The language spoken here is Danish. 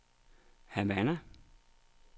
Havana